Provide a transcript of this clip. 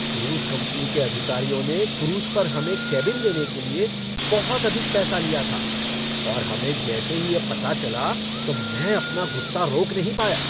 Cruise company के अधिकारियों ने क्रूज़ पर हमें केबिन देने के लिए बहुत अधिक पैसा लिया था और हमें जैसे ही यह पता चला तो मैं अपना गुस्सा रोक नहीं पाया।